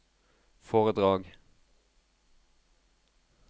foredrag